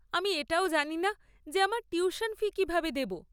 আমি এটাও জানি না যে আমার টিউশন ফি কীভাবে দেব।